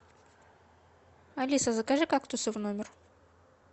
алиса закажи кактусы в номер